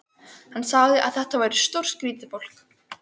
Hann sagði að þetta væri stórskrýtið fólk.